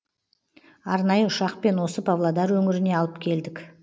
арнайы ұшақпен осы павлодар өңіріне алып келдік